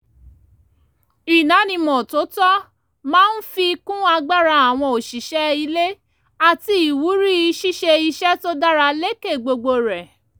ìdánimọ̀ tó tọ́ máa ń fi kún agbára àwọn òṣìṣẹ́ ilé àti ìwúrí ṣíṣe iṣẹ́ tó dára lékè gbogbo rẹ̀